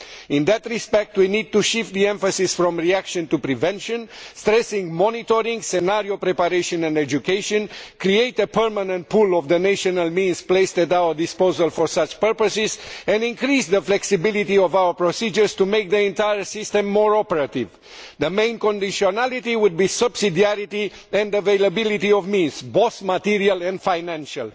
In that respect, we need to shift the emphasis from reaction to prevention, stressing monitoring, scenario preparation and education. We need to create a permanent pool of the national means placed at our disposal for such purposes and increase the flexibility of our procedures to make the entire system more operative. The main conditionality would be subsidiarity, then availability of means both material and financial.